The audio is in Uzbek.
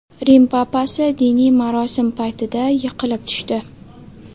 Rim papasi diniy marosim paytida yiqilib tushdi .